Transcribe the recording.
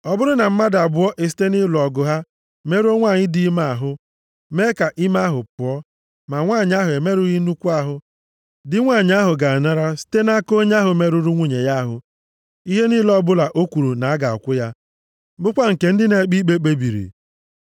“Ọ bụrụ na mmadụ abụọ esite nʼịlụ ọgụ ha merụọ nwanyị dị ime ahụ, mee ka ime ahụ pụọ, ma nwanyị ahụ emerụghị nnukwu ahụ, di nwanyị ahụ ga-anara site nʼaka onye ahụ merụrụ nwunye ya ahụ ihe niile ọbụla o kwuru na a ga-akwụ ya, bụkwa nke ndị na-ekpe ikpe kpebiri.